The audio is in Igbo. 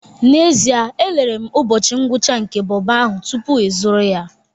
N'ezie, elere m ụbọchị ngwụcha nke bobo ahụ tupu ịzụrụ ya